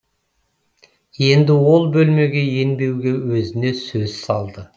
енді ол бөлмеге енбеуге өзіне сөз салды